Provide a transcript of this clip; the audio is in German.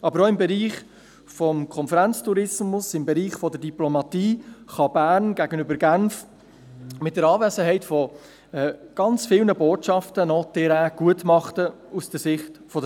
Aber auch im Bereich des Konferenztourismus und der Diplomatie kann Bern gegenüber Genf mit der Anwesenheit zahlreicher Botschaften aus Sicht der SAK Terrain gutmachen.